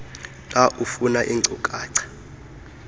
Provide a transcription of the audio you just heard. xa ufuna iinkcukacha